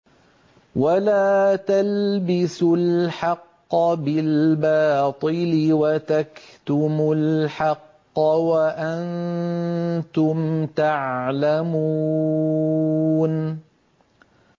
وَلَا تَلْبِسُوا الْحَقَّ بِالْبَاطِلِ وَتَكْتُمُوا الْحَقَّ وَأَنتُمْ تَعْلَمُونَ